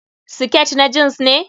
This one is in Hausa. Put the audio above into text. Siket na jeans ne?